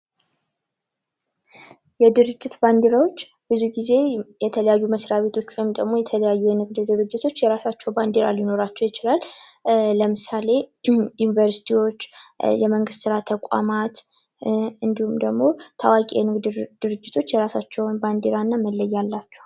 የድርጅት ባዲራዎች ብዙ ጊዜ የተለያዩ መስርያ ቤቶች ወይም ደግሞ የተለያዩ ድርጅቶች የራሳቸው ባዲራ ሊኖራቸው ይችላል። ለምሳሌ ዩኒቨርስቲዎች ፣የመንግስት ስራ ተቋማት እንዲሁም ደግሞ ታዋቂ የሆኑ የንግድ ድርጅቶች የራሳቸው የሆነ ባዲራና መለያ አላቸው።